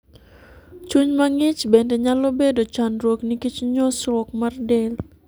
Chuny ma ng'ich bende nyalo bedo chandruok nikech nyosruok mar del.